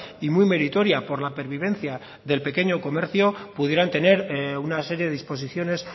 y muy meritoria por la pervivencia del pequeño comercio pudieran tener una serie de disposiciones